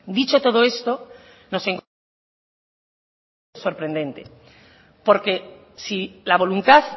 dicho todo esto nos encontramos en una situación ciertamente sorprendente porque si la voluntad